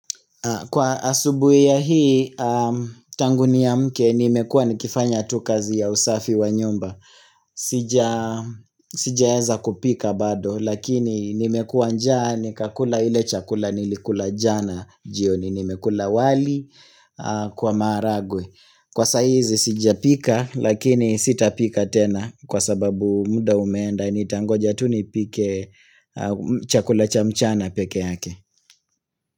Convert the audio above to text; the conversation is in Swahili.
Kwa asubuhi ya hii tanguni ya niamke nimekuwa nikifanya tukazi ya usafi wa nyumba. Sijaeza kupika bado lakini nimekua njaa ni kakula ile chakula nilikula jana jioni nimekula wali kwa maharagwe. Kwa saizi sijapika lakini sitapika tena kwa sababu muda umenda nitangoja tu nipike chakula cha mchana pekee yake.